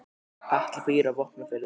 Atli býr á Vopnafirði.